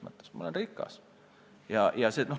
Ma olen rikas!